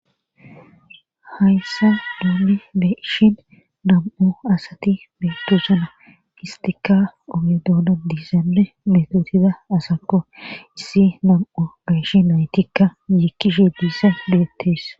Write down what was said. hayssa duuli beeshin dam7u asati beetosana istika oge dooda diizanne metotida asakko issi nam7o beshi naytikka yiikkishe diissa duyettes